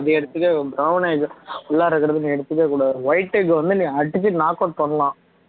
அதை எடுத்துக்க brown ஆ இது உள்ளாற இருக்கறதை நீ எடுத்துக்கக் கூடாது white egg வந்து நீ அடிச்சு knock out பண்ணலாம்